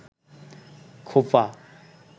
খোপা